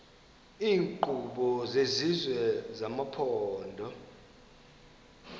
iinkqubo zesizwe nezamaphondo